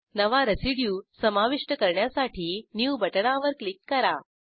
नवा रेसिड्यू समाविष्ट करण्यासाठी न्यू बटणावर क्लिक करा